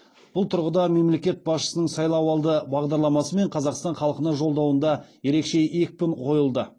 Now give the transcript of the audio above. бұл тұрғыда мемлекет басшысының сайлауалды бағдарламасы мен қазақстан халқына жолдауында ерекше екпін қойылды